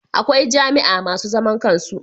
Akwai jami'a masu zaman kansu